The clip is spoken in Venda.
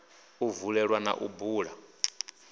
u vulelwa na u bula